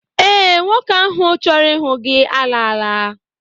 Ee, nwoke ahụ chọrọ ịhụ gị alaala